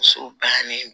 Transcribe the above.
Muso bannen